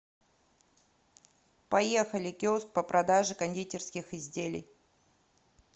поехали киоск по продаже кондитерских изделий